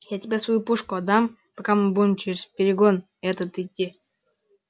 я тебе свою пушку отдам пока мы будем через перегон этот идти